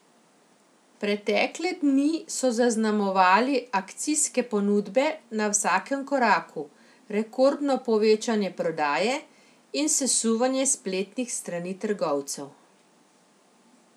Pretekle dni so zaznamovali akcijske ponudbe na vsakem koraku, rekordno povečanje prodaje in sesuvanje spletnih strani trgovcev.